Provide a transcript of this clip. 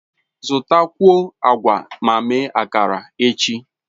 Zụtakwuo agwa ma mee akara echi.